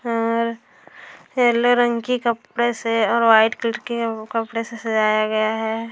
और पिले रंग के कपड़े से और वाइट कलर के कपड़े से सजाया गया है।